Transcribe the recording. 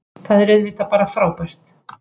Það er auðvitað bara frábært